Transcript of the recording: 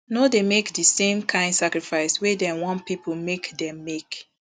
no dey make di same kain sacrifice wey dem wan pipo make dem make